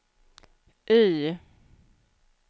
Y